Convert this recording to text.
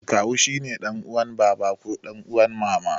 Kawu shine ɗan uwan baba ko ɗan uwan mama.